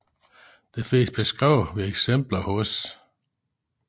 Det findes beskrevet ved eksempler hos